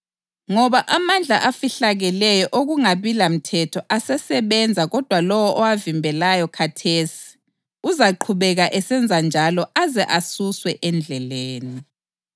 Ngoba amandla afihlakeleyo okungabi lamthetho asesebenza kodwa lowo owavimbelayo khathesi uzaqhubeka esenza njalo aze asuswe endleleni.